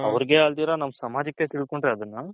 ಅವರ್ಗೆ ಅಲ್ದಿರ ನಮ್ಮ ಸಮಾಜಕ್ಕ್ ತಿಳ್ಕೊಂಡ್ರೆ ಅದುನ್ನ